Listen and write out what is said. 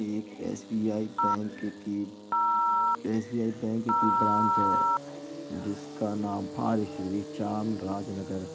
एक SBI bank की SBI bank की ब्रांच है जिसका का नाम चाम राज नगर --